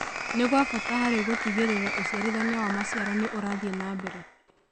nĩ gwa bata harĩ gũtigĩrĩra ũciarithania wa maciaro nĩ ũrathie na mbere.